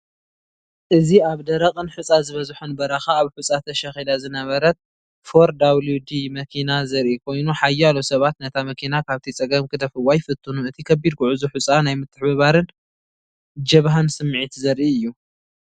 እዚ ኣብ ደረቕን ሑጻ ዝበዝሖን በረኻ ኣብ ሑጻ ተሸኺላ ዝነበረት 4WD መኪና ዘርኢ ኮይኑ ሓያሎ ሰባት ነታ መኪና ካብቲ ጸገም ክደፍእዋ ይፍትኑ። እቲ ከቢድ ጉዕዞ ሑጻ ናይ ምትሕብባርን ጀብሃን ስምዒት ዘርኢ እዩ።